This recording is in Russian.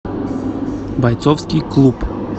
бойцовский клуб